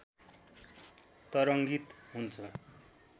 तरङ्गित हुन्छ